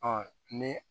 Ɔ ni